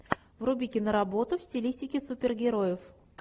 вруби киноработу в стилистике супергероев